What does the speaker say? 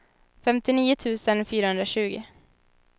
femtionio tusen fyrahundratjugo